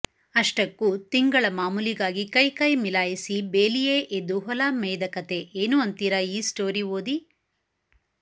ಅಷ್ಟಕ್ಕು ತಿಂಗಳ ಮಾಮೂಲಿಗಾಗಿ ಕೈಕೈ ಮೀಲಾಯಿಸಿ ಬೇಲಿಯೇ ಎದ್ದು ಹೊಲ ಮೇಯ್ದ ಕಥೆ ಏನು ಅಂತೀರಾ ಈ ಸ್ಟೋರಿ ಓದಿ